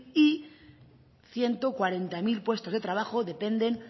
y ciento cuarenta mil puestos de trabajo dependen